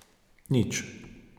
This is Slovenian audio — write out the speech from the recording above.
Nič.